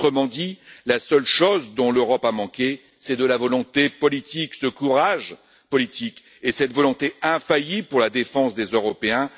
Autrement dit, la seule chose dont l'Europe a manqué, c'est de la volonté politique, ce courage politique et cette volonté infaillible pour la défense des Européens.